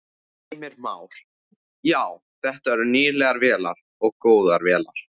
Heimir Már: Já, þetta eru nýlegar vélar og góðar vélar?